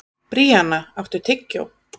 Bríanna, áttu tyggjó?